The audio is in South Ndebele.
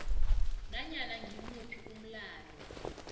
nanyana ngimuphi umlayo